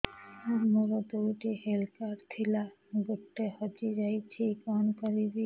ସାର ମୋର ଦୁଇ ଟି ହେଲ୍ଥ କାର୍ଡ ଥିଲା ଗୋଟେ ହଜିଯାଇଛି କଣ କରିବି